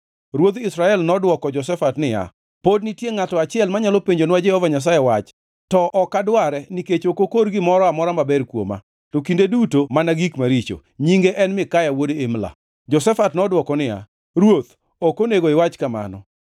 Ruodh Israel nodwoko Jehoshafat niya, “Pod nitie ngʼato achiel manyalo penjonwa Jehova Nyasaye wach, to ok adware nikech ok okor gimoro amora maber kuoma, to kinde duto mana gik maricho. Nyinge en Mikaya wuod Imla.” Jehoshafat nodwoko niya, “Ruoth, ok onego iwach kamano.”